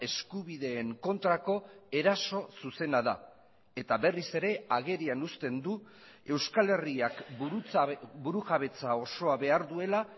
eskubideen kontrako eraso zuzena da eta berriz ere agerian uzten du euskal herriak burujabetza osoa behar duela